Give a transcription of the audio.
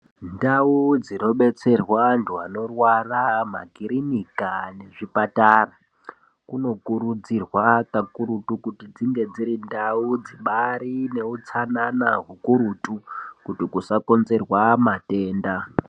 Ndawu dzinodetserwa antu anorwara, pamakirinika nezvipatara, kunokurudzirwa kakurutu kuti dzinge dzirindawu dzibari newutsanana hukurutu kuti kusakonzerwa matenfa.